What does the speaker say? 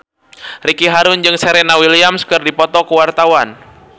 Ricky Harun jeung Serena Williams keur dipoto ku wartawan